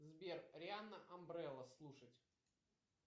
сбер рианна амбрелла слушать